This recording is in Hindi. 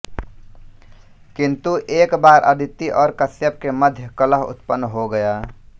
किन्तु एक बार अदिति और कश्यप के मध्य कलह उत्पन्न हो गया